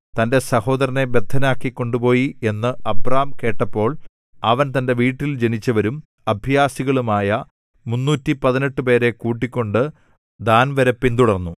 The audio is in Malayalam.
തന്റെ സഹോദരനെ ബദ്ധനാക്കി കൊണ്ടുപോയി എന്ന് അബ്രാം കേട്ടപ്പോൾ അവൻ തന്റെ വീട്ടിൽ ജനിച്ചവരും അഭ്യാസികളുമായ മുന്നൂറ്റിപതിനെട്ടു പേരെ കൂട്ടിക്കൊണ്ട് ദാൻവരെ പിന്തുടർന്നു